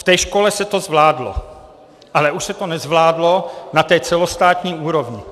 V té škole se to zvládlo, ale už se to nezvládlo na té celostátní úrovni.